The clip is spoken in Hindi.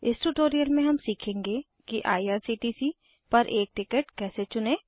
इस ट्यूटोरियल में हम सीखेंगे कि आईआरसीटीसी पर एक टिकट कैसे चुनें